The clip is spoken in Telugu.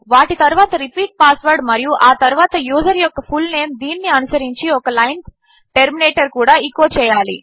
వాటితరువాత రిపీట్ పాస్వర్డ్ మరియుఆతరువాతయూజర్యొక్క ఫుల్నేమ్ దీనినిఅనుసరించిఒకలైన్టర్మినేటర్కూడా ఎచో చేయాలి